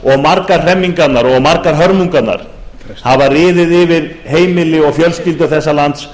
fyrirkomulag margar hremmingarnar og margar hörmungarnar hafa riðið yfir heimili og fjölskyldur þessa lands